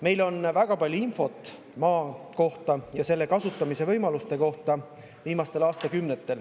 Meil on viimastel aastakümnetel väga palju infot maa ja selle kasutamise võimaluste kohta.